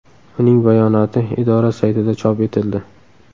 Uning bayonoti idora saytida chop etildi .